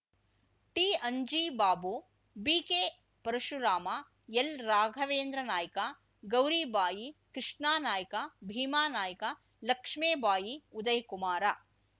T Anjibabu BK Parashuram L Raghavendra Naik Gouribai Krishna Naik Bhimanaik Lakshmibai Udayakumar